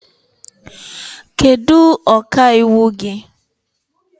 Kedu ọka iwu gị?